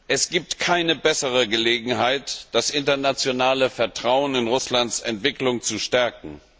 Es gibt keine bessere Gelegenheit, das internationale Vertrauen in Russlands Entwicklung zu stärken.